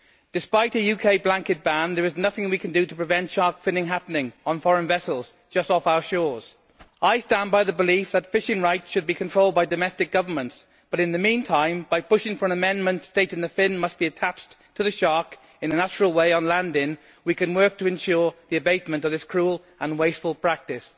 Despite a UK blanket ban, there is nothing we can do to prevent shark finning happening on foreign vessels just off our shores. I stand by the belief that fishing rights should be controlled by domestic governments, but in the meantime, by pushing for an amendment stating that the fin must be attached to the shark in a natural way on landing, we can work to ensure the abatement of this cruel and wasteful practice.